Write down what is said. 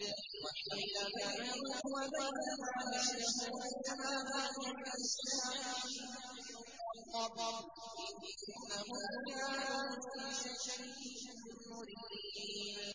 وَحِيلَ بَيْنَهُمْ وَبَيْنَ مَا يَشْتَهُونَ كَمَا فُعِلَ بِأَشْيَاعِهِم مِّن قَبْلُ ۚ إِنَّهُمْ كَانُوا فِي شَكٍّ مُّرِيبٍ